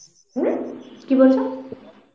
হম? কি বলছ?